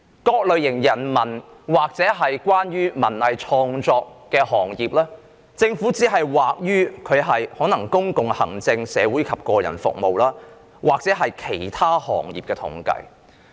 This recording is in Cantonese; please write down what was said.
對於人文或文藝創作行業，政府可能只是在統計中將他們歸類為"公共行政、社會及個人服務"或"其他行業"。